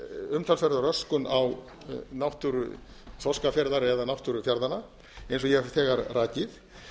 umtalsverða röskun á náttúru þorskafjarðar eða náttúru fjarðanna eins og ég hef þegar rakið